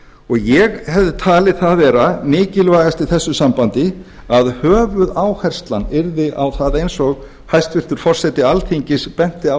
ég hefði talið það vera mikilvægast í þessu sambandi að höfuðáherslan yrði á það eins og hæstvirtur forseti alþingis benti á